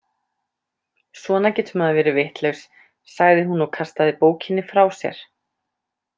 Svona getur maður verið vitlaus, sagði hún og kastaði bókinni frá sér.